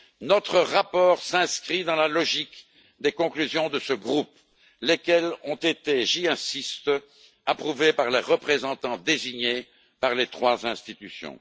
Notre rapport s'inscrit dans la logique des conclusions de ce groupe, lesquelles ont été j'insiste approuvées par les représentants désignés par les trois institutions.